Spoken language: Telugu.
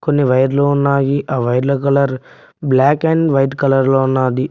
కొన్ని వైర్లు ఉన్నాయి ఆ వైర్ల colour black and white colour లో ఉన్నాది.